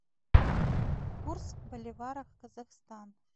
курс боливара казахстан